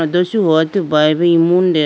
atu shuhotu bayibo imu de.